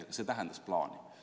Aga see tähendas plaani.